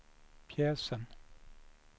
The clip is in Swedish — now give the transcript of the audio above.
pjäsen